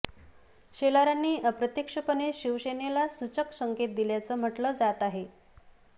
शेलारांनी अप्रत्यक्षपणे शिवसेनेला सूचक संकेत दिल्याचं म्हटलं जात आहे